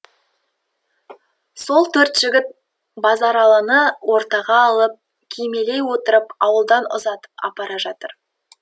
сол төрт жігіт базаралыны ортаға алып кимелей отырып ауылдан ұзатып апара жатыр